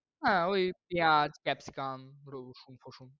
হ্যাঁ ঐ ইয়া capsicum, রসুন ফসুন।